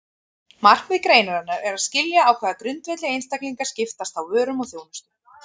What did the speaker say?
Markmið greinarinnar er að skilja á hvaða grundvelli einstaklingar skiptast á vörum og þjónustu.